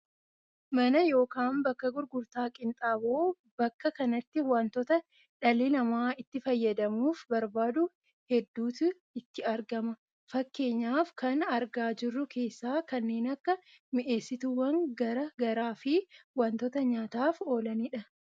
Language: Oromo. mana yookaan bakka gurgurtaa qinxaaboo. bakka kanatti wantoota dhalli namaa itti fayyadamuuf barbaadu hedduuti itti gurgurama. fakkeenyaaf kan argaaa jirru keessaa, kanneen akka mi'eessituuwwan gara garaa fi wantoota nyaataaf oolanidh.